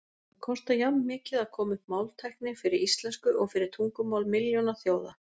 Það kostar jafnmikið að koma upp máltækni fyrir íslensku og fyrir tungumál milljónaþjóða.